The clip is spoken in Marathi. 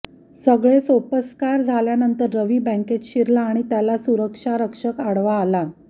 सगळे सोपस्कार झाल्यानंतर रवी बँकेत शिरला आणि त्याला सुरक्षा रक्षक आडवा आला